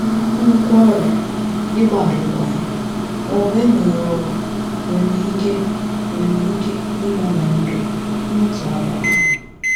Nnukwu ọrịa, ịgba alụkwaghịm, ma ọ bụ enweghị ọrụ nwere ike nwere ike ịgbanwe ndụ n’otu abalị.